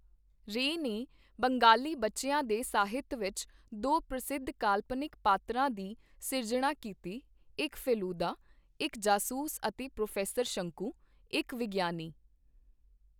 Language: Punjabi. ਰੇ ਨੇ ਬੰਗਾਲੀ ਬੱਚਿਆਂ ਦੇ ਸਾਹਿਤ ਵਿੱਚ ਦੋ ਪ੍ਰਸਿੱਧ ਕਾਲਪਨਿਕ ਪਾਤਰਾਂ ਦੀ ਸਿਰਜਣਾ ਕੀਤੀ ਇੱਕ ਫੇਲੂਦਾ, ਇੱਕ ਜਾਸੂਸ ਅਤੇ ਪ੍ਰੋਫੈਸਰ ਸ਼ੰਕੂ, ਇੱਕ ਵਿਗਿਆਨੀ।